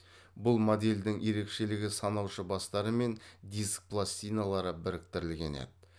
бұл модельдің ерекшелігі санаушы бастары мен диск пластиналары біріктірілген еді